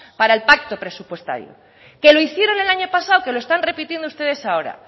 para el pacto presupuestario que lo hicieron el año pasado que lo están repitiendo ustedes ahora